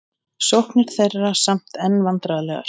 Sóknir þeirra samt enn vandræðalegar